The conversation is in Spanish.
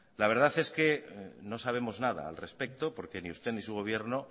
la verdad es que no sabemos nada al respecto porque ni usted ni su gobierno